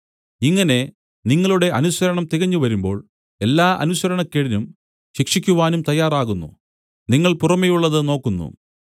ഇങ്ങനെ നിങ്ങളുടെ അനുസരണം തികഞ്ഞുവരുമ്പോൾ എല്ലാ അനുസരണക്കേടിനും ശിക്ഷിക്കുവാനും തയ്യാറാവുന്നു നിങ്ങൾ പുറമെയുള്ളതു നോക്കുന്നു